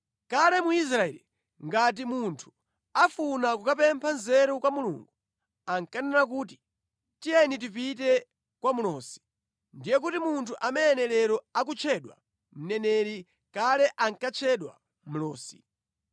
(Kale mu Israeli ngati munthu afuna kukapempha nzeru kwa Mulungu ankanena kuti, “Tiyeni tipite kwa mlosi.” Ndiye kuti munthu amene lero akutchedwa mneneri, kale ankatchedwa mlosi).